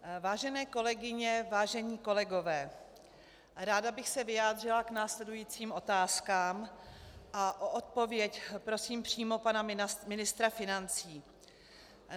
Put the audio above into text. Vážené kolegyně, vážení kolegové, ráda bych se vyjádřila k následujícím otázkám a o odpověď prosím přímo pana ministra financí.